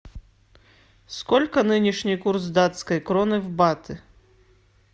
сколько нынешний курс датской кроны в баты